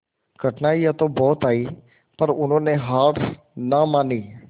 कठिनाइयां तो बहुत आई पर उन्होंने हार ना मानी